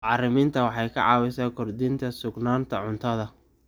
Bacriminta waxay caawisaa kordhinta sugnaanta cuntada.